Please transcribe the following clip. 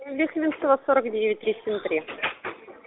лихвинцева сорок девять три семь три